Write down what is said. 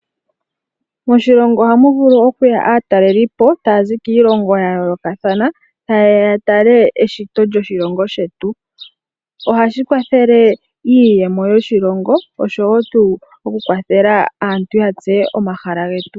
Moshilongo ohamu vulu oku ya aatalelipo ta ya zi kiilongo yayolokathana ta yeya ya tale eshito ndjoshilongo shetu. Shino ohashi kwathele iiyemo yoshilongo oshowo oku kwathela aantu yatseye omahala getu.